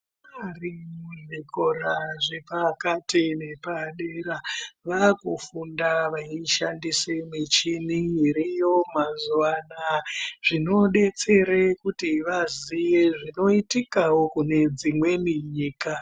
Ana ari mu zvikora zve pakati ne padera vakufunda vei shandise michini iriyo mazuva anaya zvino detsere kuti vaziye zvino itikawo kune dzimweni nyika.